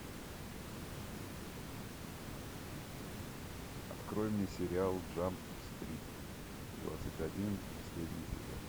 открой мне сериал джамп стрит двадцать один последний сезон